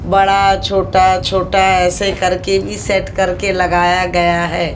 बड़ा छोटा छोटा ऐसे करके भी सेट करके लगाया गया है।